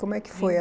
Como é que foi a